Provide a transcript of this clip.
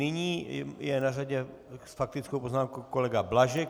Nyní je na řadě s faktickou poznámkou kolega Blažek.